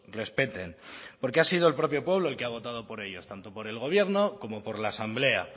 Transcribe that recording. respeten porque ha sido el propio pueblo el que ha votado por ellos tanto por el gobierno como por la asamblea